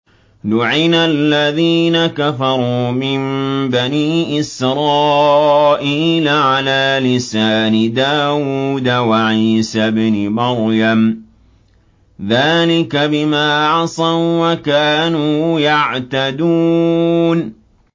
لُعِنَ الَّذِينَ كَفَرُوا مِن بَنِي إِسْرَائِيلَ عَلَىٰ لِسَانِ دَاوُودَ وَعِيسَى ابْنِ مَرْيَمَ ۚ ذَٰلِكَ بِمَا عَصَوا وَّكَانُوا يَعْتَدُونَ